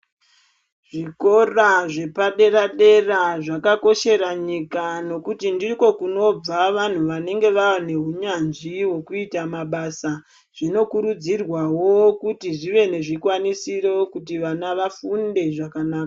Zvikora zvepadera-dera zvakakoshera nyika nekuti ndiko kunobva vanhu vanenge vaa nehunyanzvi hwekuita mabasa. Zvinokurudzirwawo kuti zvive nezvikwanisiro kuti vana vafunde zvakanaka.